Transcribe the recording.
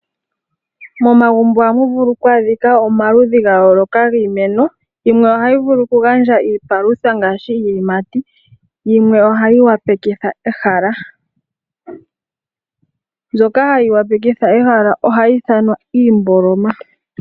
Momagumbo ohamu vulu oku adhika omaludhi ga yooloka giimeno. Yimwe ohayi vulu oku gandja iipalutha ngaashi iiyimati, yimwe ohayi opalekitha ehala. Mbyoka hayi opalekitha ehala ohayi ithanwa iimboloma.